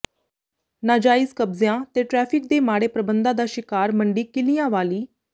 ਨਾਜਾਇਜ਼ ਕਬਜ਼ਿਆਂ ਤੇ ਟਰੈਫ਼ਿਕ ਦੇ ਮਾੜੇ ਪ੍ਰਬੰਧਾਂ ਦਾ ਸ਼ਿਕਾਰ ਮੰਡੀ ਕਿੱਲਿਆਂਵਾਲੀ